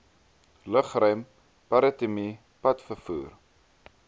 lugruim maritieme padvervoer